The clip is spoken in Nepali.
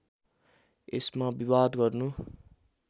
यसमा विवाद गर्नु